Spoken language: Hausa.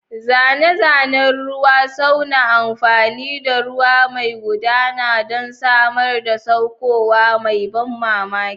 Zane-zanen ruwa suna amfani da ruwa mai gudana don samar da saukowa mai ban mamaki.